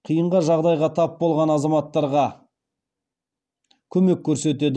қиынға жағдайға тап болған азаматтарға көмек көрсетеді